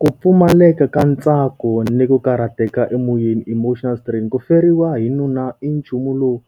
Ku pfumaleka ka ntsako ni ku karhateka emoyeni emotional strain. Ku feriwa hi nuna i nchumu lowu